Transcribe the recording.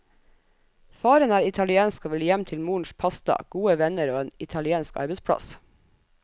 Faren er italiensk og vil hjem til morens pasta, gode venner og en italiensk arbeidsplass.